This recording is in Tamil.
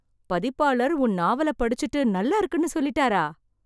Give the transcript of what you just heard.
பதிப்பாளர் உன் நாவலை படிச்சுட்டு, நல்லாருக்குன்னு சொல்லிட்டாரா...